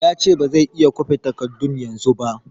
Ya ce ba zai iya kwafen takardun yanzu ba